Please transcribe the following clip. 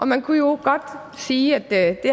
man kunne jo godt sige at det